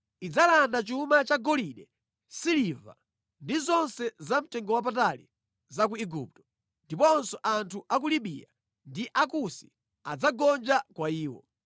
Idzalanda chuma cha golide, siliva, ndi zonse za mtengowapatali za ku Igupto, ndiponso anthu a ku Libiya ndi Akusi adzagonja kwa iwo.